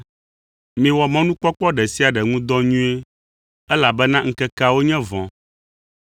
Miwɔ mɔnukpɔkpɔ ɖe sia ɖe ŋu dɔ nyuie, elabena ŋkekeawo nye vɔ̃.